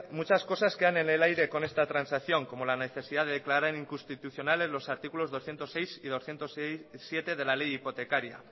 muchas cosas quedan en el aire con esta transacción como la necesidad de declarar inconstitucionales los artículos doscientos seis y doscientos siete de la ley hipotecaria